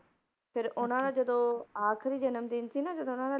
ਫਿਰ ਉਹਨਾਂ ਦਾ ਜਦੋਂ ਆਖ਼ਰੀ ਜਨਮ ਦਿਨ ਸੀ ਨਾ ਜਦੋਂ ਉਹਨਾਂ ਦਾ